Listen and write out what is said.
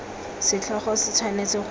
setlhogo se tshwanetse go bo